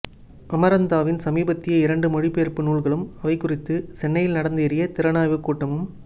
அமரந்த்தாவின் சமீபத்திய இரண்டு மொழிபெயர்ப்பு நூல்களும் அவை குறித்து சென்னையில் நடந்தேறிய திறனாய்வுக்கூட்டமும்